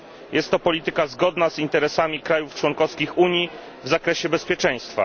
Jest to polityka zgodna z interesami państw członkowskich Unii w zakresie bezpieczeństwa.